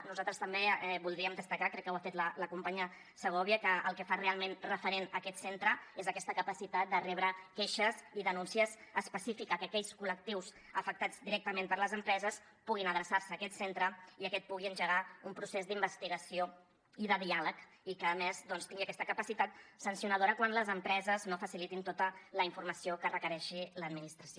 nosaltres també voldríem destacar crec que ho ha fet la companya segovia que el que fa realment referent aquest centre és aquesta capacitat de rebre queixes i denúncies específiques que aquells col·lectius afectats directament per les empreses puguin adreçar se a aquest centre i aquest pugui engegar un procés d’investigació i de diàleg i que a més doncs tingui aquesta capacitat sancionadora quan les empreses no facilitin tota la informació que requereixi l’administració